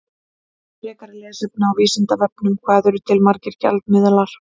Frekara lesefni á Vísindavefnum: Hvað eru til margir gjaldmiðlar?